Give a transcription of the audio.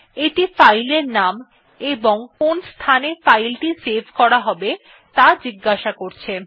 এটি ফাইল এর নাম এবং কোন স্থানে ফাইল টি সেভ করা হবে ত়া জিজ্ঞাসা করছে